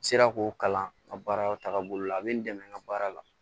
N sera k'o kalan n ka baaraw taaga bolo la a bɛ n dɛmɛ n ka baara la